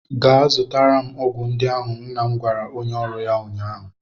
Gaa zụtara m ọgwụ ndị ahụ! nna m gwara onye ọrụ ya ụnyaahụ.